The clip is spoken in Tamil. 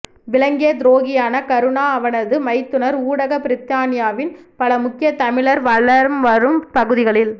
விளங்கிய துரோகியான கருணா அவனது மைத்துனர் ஊடாக பிரித்தானியாவின் பல முக்கிய தமிழர் வலம் வரும் பகுதிகளில்